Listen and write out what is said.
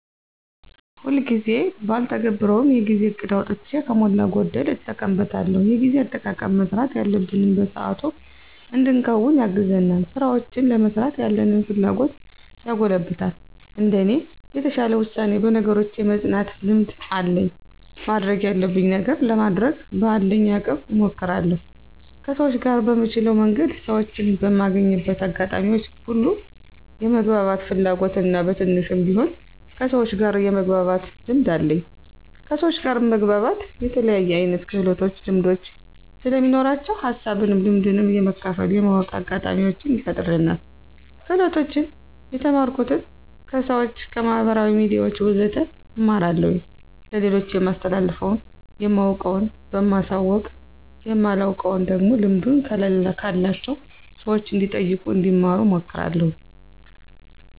ሁልጊዜ ጊዜ ባልተገብረውም የጊዜ እቅድ አውጥቼ ከሞላ ጎደል እጠቀምበታለሁ። የጊዜ አጠቃቀም መስራት ያለብንን በሰአቱ እንድንከውን ያግዘናል፣ ስራውችን ለመስራት ያለንን ፍላጎት ያጎለብታል። እንደኔ የተሻለ ውሳኔ፣ በነገሮች የመፅናት ልምድ አለኝ ማድረግ ያለብኝን ነገር ለማድረግ በአለኝ አቅም እሞክራለሁ። ከሰውች ጋር በምችለው መንገድ ሰወችን በማገኝበት አጋጣሚዎች ሁሉ የመግባባት ፍላጎት እና በትንሹም ቢሆን ከሰውች ጋር የመግባባት ልምድ አለኝ። ከሰውች ጋር መግባባት የተለያየ አይነት ክህሎቶች ልምዶች ስለሚኖራቸው ሀሳብንም ልምድንም የመካፈል የማወቅ አጋጣሚውችን ይፈጥርልናል። ክህሎቶችን የተማርኩት፦ ከሰውች፣ ከማህበራዊ ሚዲያውች ወዘተ እማራለሁኝ። ለሌሎች የማስተላልፈው የማውቀውን በማሳወቅ የማላውቀውን ደግሞ ልምዱ ካላቸው ሰውች እንዲጠይቁ እንዲማሩ አመክራለሁኝ።